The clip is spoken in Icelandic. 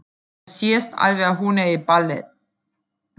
Það sést alveg að hún er í ballett.